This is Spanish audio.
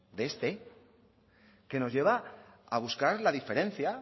de este que nos lleva a buscar la diferencia